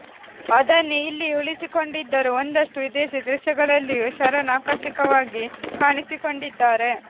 ಅದನ್ನೇ ಇಲ್ಲಿಯೂ ಉಳಿಸಿಕೊಂಡಿದ್ದರೂ ಒಂದಷ್ಟು ವಿದೇಶಿ ದೃಶ್ಯಗಳಲ್ಲಿಯೂ ಶರಣ್ ಆಕರ್ಷಕವಾಗಿ ಕಾಣಿಸಿಕೊಂಡಿದ್ದಾರೆ